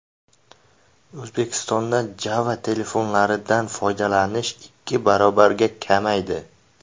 O‘zbekistonda Java-telefonlardan foydalanish ikki barobarga kamaydi.